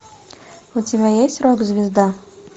у тебя есть рок звезда